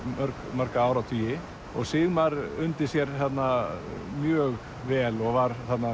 marga áratugi og Sigmar undi sér þarna mjög vel og var þarna